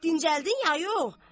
Dincəldin ya yox?